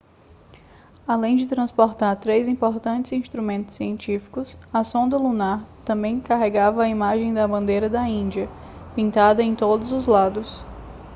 além de transportar três importantes instrumentos científicos a sonda lunar também carregava a imagem da bandeira da índia pintada em todos os lados